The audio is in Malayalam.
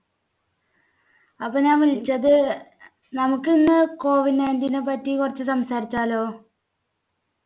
അപ്പൊ ഞാൻ വിളിച്ചത് നമുക്കിന്ന് COVID ninteen നെ പറ്റി കുറച്ചു സംസാരിച്ചാലോ?